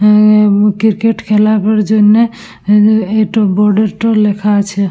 উমম এ ক্রিকেট খেলাবার জন্য এ-এ এইটো বর্ডার -টো লেখা আছে।